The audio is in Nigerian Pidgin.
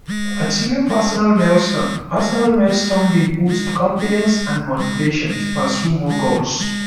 achieving personal milestones personal milestones dey boost confidence and motivation to pursue more goals